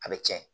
A bɛ tiɲɛ